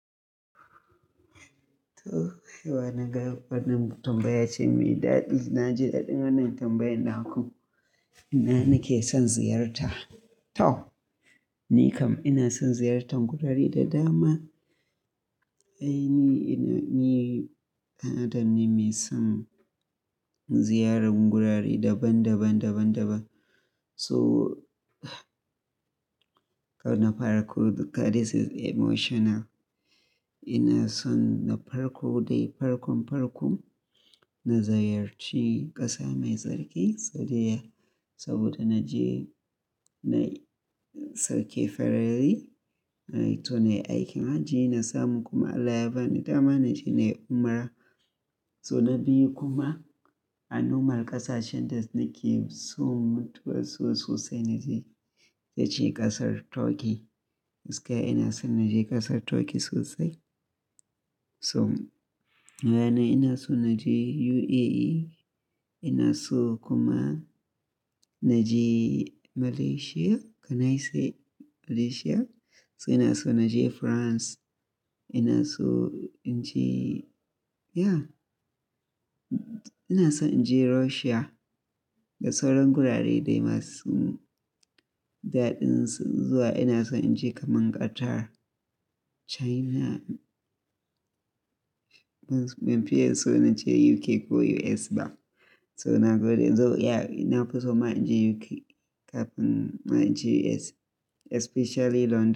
To, haihuwa na ga wannan tambaya ce mai daɗi. Na ji daɗin wannan tambayan naku ina nake son ziyarta. To! Ni kam ina son ziyartar gurare da dama. Ai ni, ina, ni ɗan adam ne mai son ziyarar gurare daban-daban, daban-daban. So, na farko, God this is emotional. Ina son na farko dai farkon farko, na ziyarci ƙasa mai tsarki, Saudiyya. Saboda na je na yi sauke farali, to na yi aikin hajji na samu kuma Allah ya bani dama na je na yi umra. So na biyu kuma a nomar ƙasashen da nake so mutuwaso sosai na je ta ci ƙasar Turkey. Gaskiya ina son na je ƙasar Turkey sosai. So, yana ina son na je UAE, ina so kuma na je Malaysia. Can I say Malaysia? So ina so na je France, ina so in je, yeah, ina son in je Russia da sauran gurare dai masu daɗin zuwa. Ina son in je kamar Qatar, China. Ban fiya so na je UK ko US ba. So nagode in zo, yeah, ina fi so ma in je UK kafin ma in je US especially London.